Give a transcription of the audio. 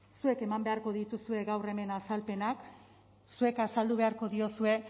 zuek eman beharko dituzue gaur hemen azalpenak zuek azaldu beharko diozue